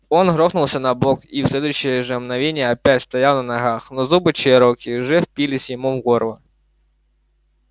он грохнулся на бок и в следующее же мгновение опять стоял на ногах но зубы чероки уже впились ему в горло